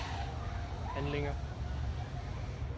handlinger